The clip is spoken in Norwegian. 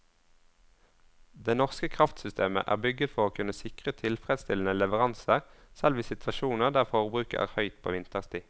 Det norske kraftsystemet er bygget for å kunne sikre tilfredsstillende leveranser selv i situasjoner der forbruket er høyt på vinterstid.